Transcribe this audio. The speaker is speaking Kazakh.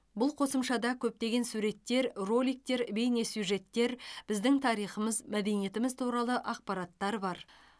бұл қосымшада көптеген суреттер роликтер бейнесюжеттер біздің тарихымыз мәдениетіміз туралы ақпараттар бар